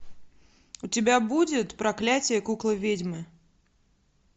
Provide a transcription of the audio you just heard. у тебя будет проклятие куклы ведьмы